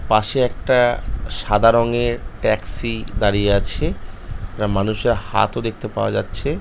পাশে এক--টা সাদা রঙের ট্যাক্সি দাড়িয়ে আছে একটা মানুষের হাতও দেখতে পাওয়া যাচ্ছে।